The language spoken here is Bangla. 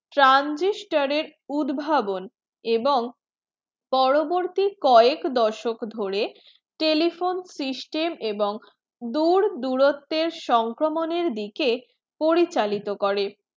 transistor উদ্ভাবন এবং পরবর্তী কয়েক দশক ধরে telephone system এবং দূরদূরত্বের সংক্রমের দিকে পরিচালিত করে